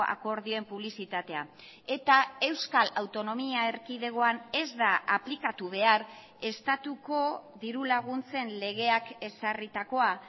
akordioen publizitatea eta euskal autonomia erkidegoan ez da aplikatu behar estatuko diru laguntzen legeak ezarritakoa